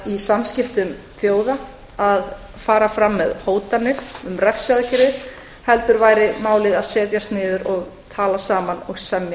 í samskiptum þjóða að fara fram með hótanir um refsiaðgerðir heldur væri málið að setjast niður og tala saman og semja